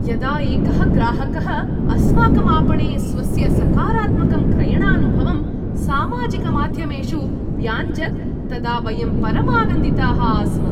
यदा एकः ग्राहकः अस्माकं आपणे स्वस्य सकारात्मकं क्रयणानुभवं सामाजिकमाध्यमेषु व्याञ्जत् तदा वयं परमानन्दिताः आस्म।